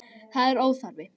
Það er óþarfi.